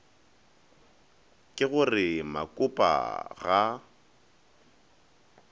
ke go re mokopa ga